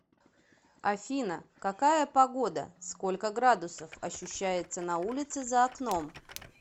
афина какая погода сколько градусов ощущается на улице за окном